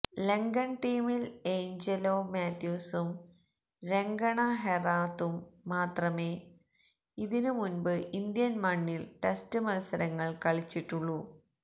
ലങ്കൻ ടീമിൽ എയ്ഞ്ചലോ മാത്യൂസും രംഗണ ഹെറാത്തും മാത്രമേ ഇതിനു മുൻപ് ഇന്ത്യൻ മണ്ണിൽ ടെസ്റ്റ് മൽസരങ്ങൾ കളിച്ചിട്ടുള്ളൂ